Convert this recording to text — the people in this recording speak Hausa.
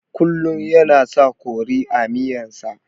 Kullun yana sa kori a miyan sa